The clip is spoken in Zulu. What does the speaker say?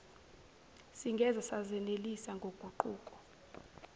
singeze sazenelisa ngoguquko